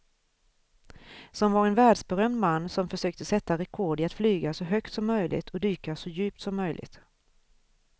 Som var en världsberömd man som försökte sätta rekord i att flyga så högt som möjligt och dyka så djupt som möjligt.